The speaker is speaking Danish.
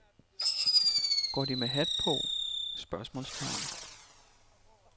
Går de med hat på? spørgsmålstegn